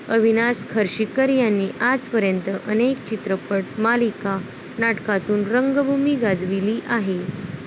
अविनाश खर्शीकर यांनी आजपर्यंत अनेक चित्रपट, मालिका, नाटकातून रंगभूमी गाजविली आहे.